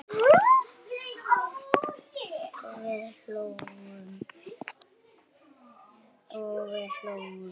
og við hlógum.